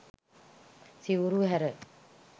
සිවුරු හැර